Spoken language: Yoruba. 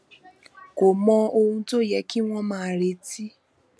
kò mọ ohun tó yẹ kí wón máa retí